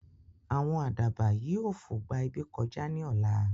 Àwọn àdàbà yìí ó fo gbà ibi kọjá ní ọ̀la